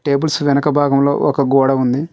Tables వెనక భాగంలో ఒక గోడ ఉంది.